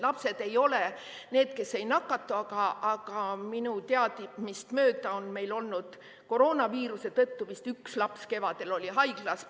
Lapsed ei ole need, kes ei nakatu, aga minu teadmist mööda on meil olnud vist üks laps, kes kevadel koroonaviiruse tõttu haiglas oli.